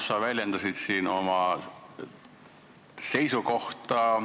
Sa väljendasid siin oma seisukohta.